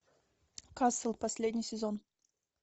касл последний сезон